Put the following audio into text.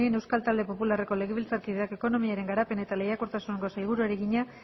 lópez de munain euskal talde popularreko legebiltzarkideak ekonomiaren garapen eta lehiakortasuneko sailburuari egina